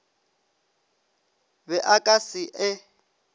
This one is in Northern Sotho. be a ka se e